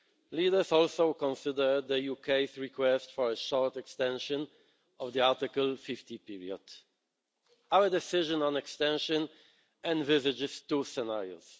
Leaders also considered the UK's request for a short extension of the Article 50 period. Our decision on extension envisages two scenarios.